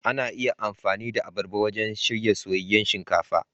Ana iya amfani da abarba wajen shirya soyayyen shinkafa.